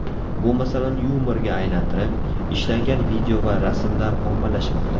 Bu masalani yumorga aylantirib, ishlangan video va rasmlar ommalashmoqda.